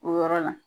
O yɔrɔ la